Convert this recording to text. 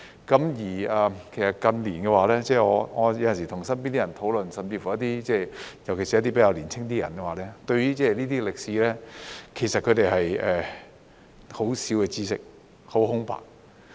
近年我有時與身邊的人討論，尤其是一些較年輕的人，對於這些歷史，他們有很少的知識、很空白。